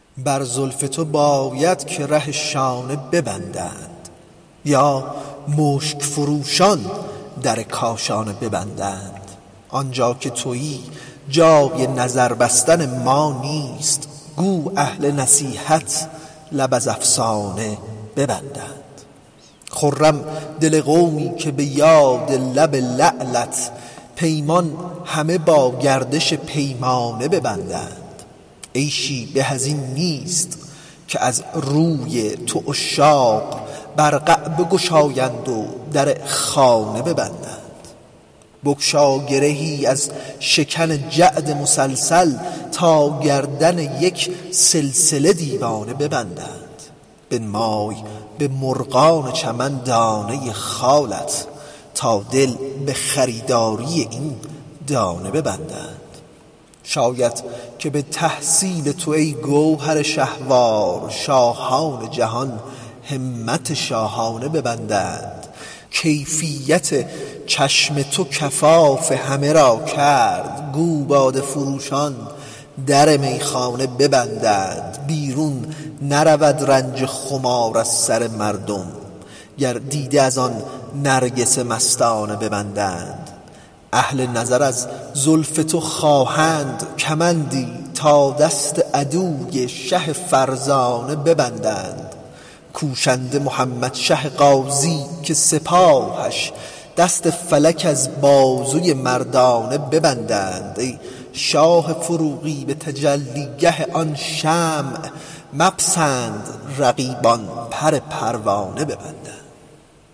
بر زلف تو باید که ره شانه ببندند یا مشک فروشان در کاشانه ببندند آن جا که تویی جای نظر بستن ما نیست گو اهل نصیحت لب از افسانه ببندند خرم دل قومی که به یاد لب لعلت پیمان همه با گردش پیمانه ببندند عیشی به از این نیست که از روی تو عشاق برقع بگشاند و در خانه ببندند بگشا گرهی از شکن جعد مسلسل تا گردن یک سلسله دیوانه ببندند بنمای به مرغان چمن دانه خالت تا دل به خریداری این دانه ببندند شاید که به تحصیل تو ای گوهر شهوار شاهان جهان همت شاهانه ببندند کیفیت چشم تو کفاف همه را کرد گو باده فروشان در میخانه ببندند بیرون نرود رنج خمار از سر مردم گر دیده از آن نرگس مستانه ببندند اهل نظر از زلف تو خواهند کمندی تا دست عدوی شه فرزانه ببندند کوشنده محمدشه غازی که سپاهش دست فلک از بازوی مردانه ببندند ای شاه فروغی به تجلی گه آن شمع مپسند رقیبان پر پروانه ببندند